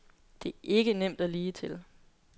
Det er ikke nemt og ligetil.